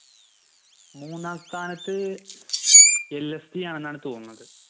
മൂന്നാം സ്ഥാനത്ത് LSG ആണെന്നാണ് തോന്നുന്നത്